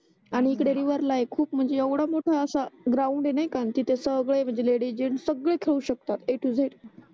आणि इकडे रिव्हर ला आहे खूप म्हणजे येवडा मोठा असा ग्राउंड आहे नाही तिथे सगडे म्हणजे लेडिज जेंट्स सगडे खेळू शकतात ए टू झेड